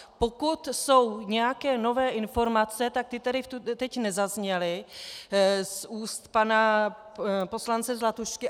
Pokud jsou nějaké nové informace, tak ty tady teď nezazněly z úst pana poslance Zlatušky.